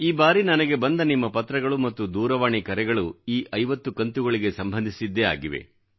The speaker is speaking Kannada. ಈ ಬಾರಿ ನನಗೆ ಬಂದ ನಿಮ್ಮ ಪತ್ರಗಳು ಮತ್ತು ದೂರವಾಣಿ ಕರೆಗಳು ಈ 50 ಕಂತುಗಳಿಗೆ ಸಂಬಂದಿಸಿದ್ದೇ ಆಗಿವೆ